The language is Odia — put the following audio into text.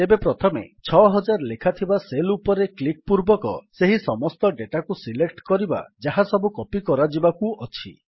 ତେବେ ପ୍ରଥମେ ୬୦୦୦ ଲେଖାଥିବା ସେଲ୍ ଉପରେ କ୍ଲିକ୍ ପୂର୍ବକ ସେହି ସମସ୍ତ ଡେଟାକୁ ସିଲେକ୍ଟ କରିବା ଯାହାସବୁ କପୀ କରାଯିବାକୁ ଅଛି